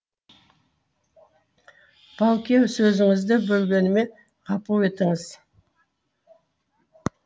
бауке сөзіңізді бөлгеніме ғапу етіңіз